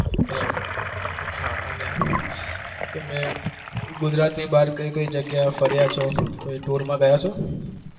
બરાબર અને હા તમે ગુજરાત ની બાર કયી કયી જગ્યા એ ગયા છો